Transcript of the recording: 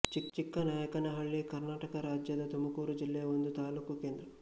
ಚಿಕ್ಕನಾಯಕನಹಳ್ಳಿ ಕರ್ನಾಟಕ ರಾಜ್ಯದ ತುಮಕೂರು ಜಿಲ್ಲೆಯ ಒಂದು ತಾಲೂಕು ಕೇಂದ್ರ